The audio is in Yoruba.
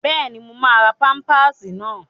Bẹ́ẹ̀ni, mo máa ra pámpásì náà